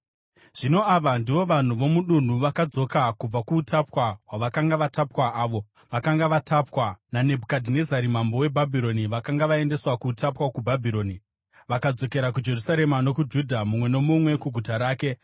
Zvino ava ndivo vanhu vomudunhu vakadzoka kubva kuutapwa hwavakanga vatapwa, avo vakanga vatapwa naNebhukadhinezari mambo weBhabhironi vakanga vaendeswa kuutapwa kuBhabhironi (vakadzokera kuJerusarema nokuJudha, mumwe nomumwe kuguta rake,